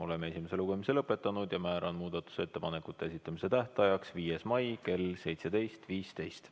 Oleme esimese lugemise lõpetanud ja määran muudatusettepanekute esitamise tähtajaks 5. mai kell 17.15.